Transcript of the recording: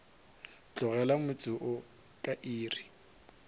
tlogela motse wo ka iri